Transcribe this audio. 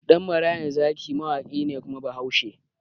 Ɗan marayan zaki mawaƙi ne kuma bahaushe